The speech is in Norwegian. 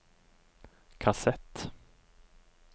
kassett